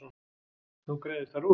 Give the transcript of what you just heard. Nú greiðist þar úr.